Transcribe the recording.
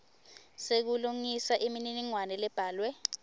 sekulungisa imininingwane lebhalwe